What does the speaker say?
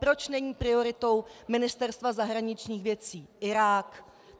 Proč není prioritou Ministerstva zahraničních věcí Irák?